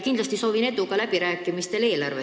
Kindlasti ma soovin teile edu eelarveläbirääkimistel!